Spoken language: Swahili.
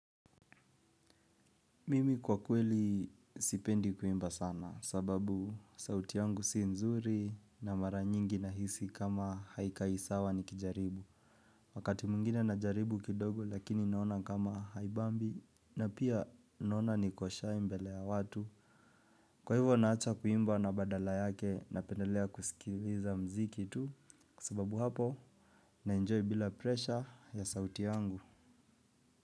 Mimi kwa kweli sipendi kuimba sana sababu sauti yangu si nzuri na mara nyingi nahisi kama haikai sawa nikijaribu. Wakati mwingine najaribu kidogo lakini naona kama haibambi na pia naona nikoshai mbele ya watu. Kwa hivyo naacha kuimba na badala yake napendelea kusikiliza mziki tu sababu hapo naenjoy bila presha ya sauti yangu.